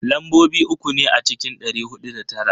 Lambobi uku ne a cikin dari hudu da tara.